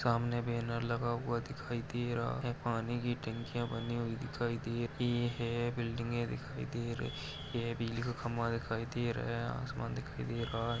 सामने बैनर लगा हुआ दिखाई दे रहा है पानी की टंकियांँ बनी हुई दिखाई दे रही है । बिल्डिंगें दिखाई दे रही है बिजली का खंभा दिखाई दे रहा आसमान दिखाई दे रहा --